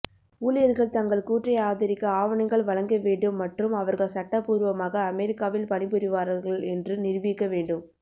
ஊழியர்கள் தங்கள் கூற்றை ஆதரிக்க ஆவணங்கள் வழங்க வேண்டும் மற்றும் அவர்கள் சட்டபூர்வமாக அமெரிக்காவில் பணிபுரிவார்கள் என்று நிரூபிக்க வேண்டும்